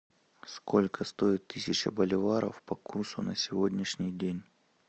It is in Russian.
сколько стоит тысяча боливаров по курсу на сегодняшний день